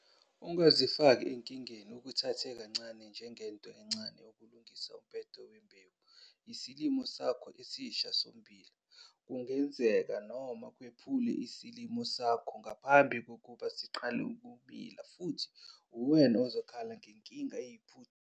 Ingazifaki enkingeni ukuthathe njengento encane ukulungisa umbhede wembewu yesilimo sakho esisha sommbila. Kungenzeka noma kwephule isilimo sakho ngaphambi kokuba siqale ukumila futhi uwena ozokhala ngenkinga.